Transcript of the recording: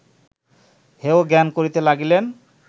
হেয় জ্ঞান করিতে লাগিলেন